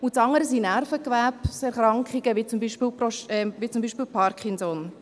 Das andere sind Nervengewebserkrankungen, wie zum Beispiel Parkinson.